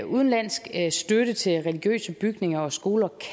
udenlandsk støtte til religiøse bygninger og skoler